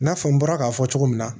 I n'a fɔ n bɔra k'a fɔ cogo min na